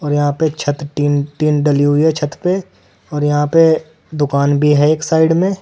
और यहां पे एक छत टिन टिन डली हुई है छत पे और यहां पे दुकान भी है एक साइड में।